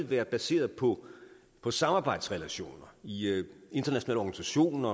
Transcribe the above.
været baseret på på samarbejdsrelationer i internationale